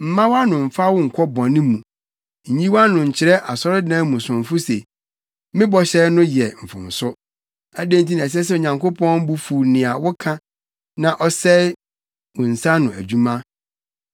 Mma wʼano mfa wo nkɔ bɔne mu. Nyi wʼano nkyerɛ asɔredan mu somfo se, “Me bɔhyɛ no yɛ mfomso.” Adɛn nti na ɛsɛ sɛ Onyankopɔn bo fuw nea woka na ɔsɛe wo nsa ano adwuma?